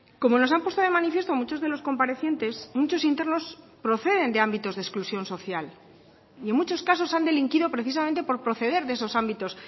como nos han puesto de manifiesto muchos de los comparecientes muchos internos proceden de ámbitos de exclusión social y en muchos casos han delinquido precisamente por proceder de esos ámbitos